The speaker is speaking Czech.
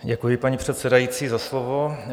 Děkuji, paní předsedající, za slovo.